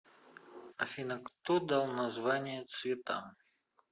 афина кто дал названия цветам